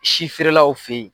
Si feerelaw fɛ yen